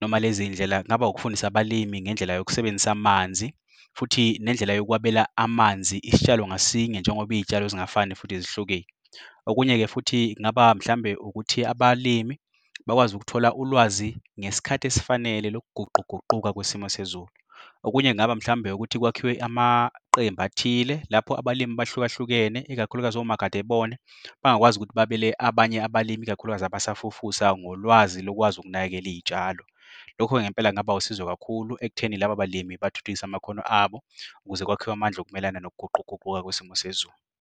noma lezindlela, kungaba ukufundisa abalimi ngendlela yokusebenzisa amanzi. Futhi nendlela yokwabela amanzi isitshalo ngasinye njengoba iy'tshalo zingafani futhi zihlukile. Okunye-ke futhi kungaba mhlawumbe ukuthi abalimi bakwazi ukuthola ulwazi ngesikhathi esifanele lokuguquguquka kwesimo sezulu. Okunye kungaba mhlawumbe ukuthi kwakhiwe amaqembu athile, lapho abalimi abahluka hlukene, ikakhulukazi omakade bebona bangakwazi ukuthi babele abanye abalimi, ikakhulukazi abasafufusa ngolwazi lokwazi ukunakekela iy'tshalo. Lokho ngempela kungaba usizo kakhulu ekutheni labo balimi bathuthukisa amakhono abo, ukuze kwakhiwe amandla okumelana nokuguquguquka kwesimo sezulu.